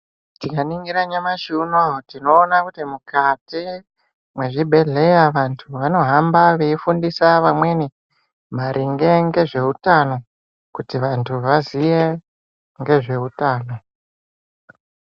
Tikaningira nyamashi unouyu tinoona kuti mukati mwezvibhedhleya vantu vanohamba veifundisa vamweni maringe ngezvehutano, kuti vantu vaziye ngezvehutano.